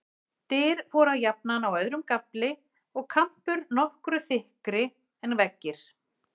Dyr voru jafnan á öðrum gafli, og kampur nokkru þykkri en veggir.